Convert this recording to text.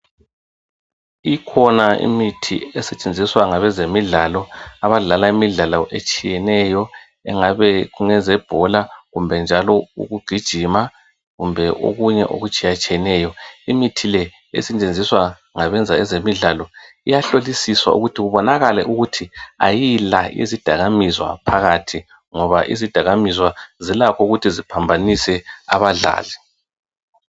Ikhona imithi esetshenziswa ngabezemidlalo abadlala imidlalo etshiyeneyo engabe kungezebhola kumbe njalo ukugijima kumbe okunye okutshiyatshiyeneyo . Imithi le esetshenziswa ngabezemidlalo iyahlolisiswa ukuthi kubonakale ukuthi ayila izidakamizwa phakathi ngoba izidakamizwa zilakho ukuthi ziphambanise abadlali.